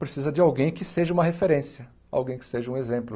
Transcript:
Precisa de alguém que seja uma referência, alguém que seja um exemplo.